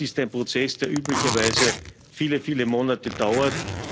Das ist ein Prozess, der üblicherweise viele, viele Monate dauert.